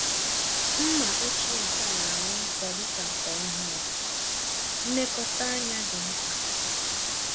Mma ochie nkea na-aghọ nkọ dịka nke ọhụrụ -nekọta ányá dị mkpa.